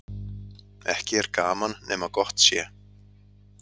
Ekki er gaman nema gott sé.